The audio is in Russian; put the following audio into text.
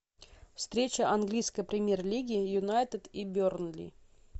встреча английской премьер лиги юнайтед и бернли